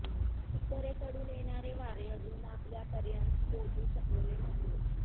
उत्तरेकडून येणारे वारे अजून आपल्यापर्यंत पोहोचू शकलेले नाहीयेत